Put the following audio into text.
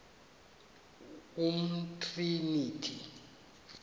umtriniti